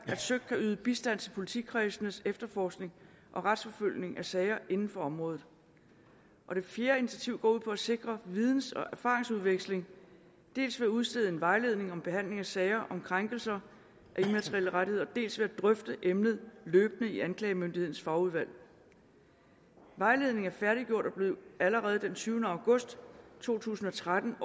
at søik kan yde bistand til politikredsenes efterforskning og retsforfølgning af sager inden for området og det fjerde initiativ går ud på at sikre videns og erfaringsudveksling dels ved at udstede en vejledning om behandling af sager om krænkelse af immaterielle rettigheder dels ved at drøfte emnet løbende i anklagemyndighedens fagudvalg vejledningen er færdiggjort og blev allerede den tyvende august to tusind og tretten